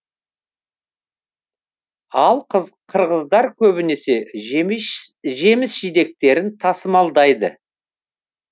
ал қырғыздар көбіне жеміс жидектерін тасымалдайды